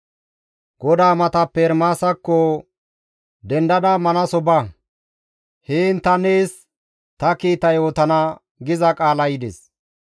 «Dendada manaso ba; heen ta nees ta kiita yootana» giza qaalay yides.